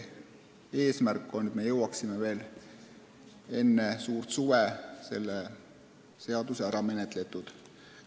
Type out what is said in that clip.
Eesmärk on, et me jõuaksime veel enne suurt suve selle seaduseelnõu ära menetletud.